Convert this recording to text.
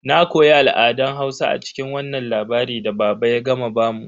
Na koya al'adan Hausa a cikin wannan labari da baba ya gama bamu.